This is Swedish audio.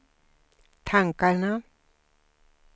tankarna